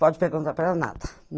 Pode perguntar para ela nada.